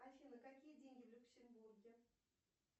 афина какие деньги в люксембурге